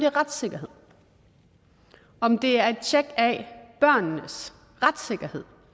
retssikkerheden om det er et tjek af børnenes retssikkerhed